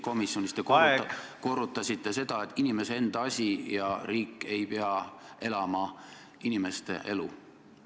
Komisjonis te korrutasite, et see on inimese enda asi ja et riik ei pea elama inimese elu.